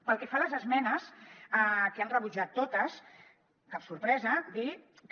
pel que fa a les esmenes que les han rebutjat totes cap sorpresa dir que